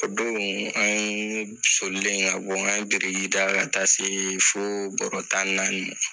O don an solilen ka bɔ k'an ye biriki da ka taa se fo bɔrɔ tan naani ma.